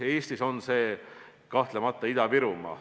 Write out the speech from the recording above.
Eestis on selliseks piirkonnaks kahtlemata Ida-Virumaa.